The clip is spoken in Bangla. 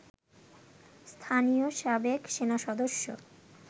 স্থানীয় সাবেক সেনাসদস্য